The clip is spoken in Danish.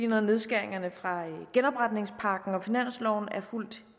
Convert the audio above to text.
når nedskæringerne fra genopretningspakken og finansloven er fuldt